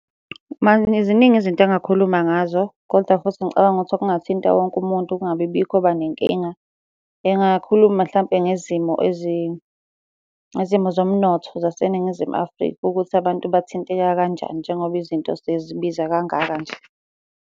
Ziningi izinto engingakhuluma ngazo, koda futhi ngicabanga ukuthi okungathinta wonke umuntu kungabi bikho oba nenkinga, engakhuluma mhlampe ngezimo ezinzima. Izimo zomnotho zaseNingizimu Afrika, ukuthi abantu bathinteka kanjani njengoba izinto sezibiza kangaka nje.